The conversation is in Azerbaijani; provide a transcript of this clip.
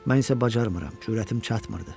Mən isə bacarmıram, cürətim çatmırdı.